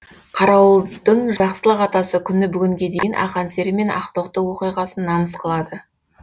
қарауылдың жақсылық атасы күні бүгінге дейін ақан сері мен ақтоқты оқиғасын намыс қылады